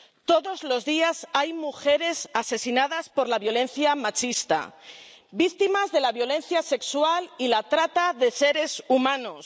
todos los días hay mujeres asesinadas por la violencia machista, víctimas de la violencia sexual y la trata de seres humanos